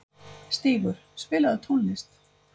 Stígur, spilaðu tónlist.